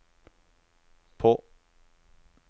på